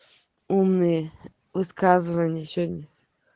умные высказывания сегодня